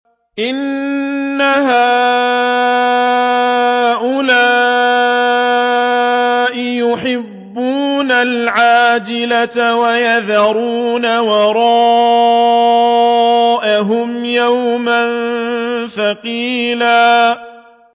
إِنَّ هَٰؤُلَاءِ يُحِبُّونَ الْعَاجِلَةَ وَيَذَرُونَ وَرَاءَهُمْ يَوْمًا ثَقِيلًا